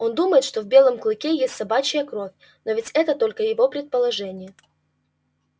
он думает что в белом клыке есть собачья кровь но ведь это только его предположение